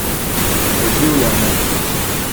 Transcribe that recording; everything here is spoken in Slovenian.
Oživljanje.